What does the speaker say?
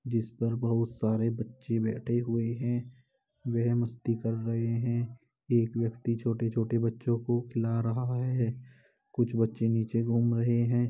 जिस पर बहुत सारे बच्चे बैठे हुए हैं। वह मस्ती कर रहे हैं। एक व्यक्ति छोटे-छोटे बच्चों को खिला रहा है। कुछ बच्चे नीचे घूम रहे हैं।